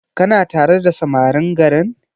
Kana tare da samarin garin?